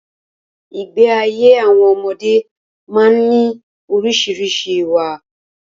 Ìgbé ayé àwọn ọmọdé má ń ní orísìírísìí ìwà